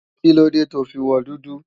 Kílóde to fi wọ dúdú?